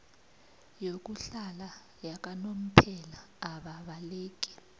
yokuhlala yakanomphela ababaleki